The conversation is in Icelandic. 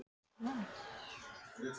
Ég reyndi að hringja í hana.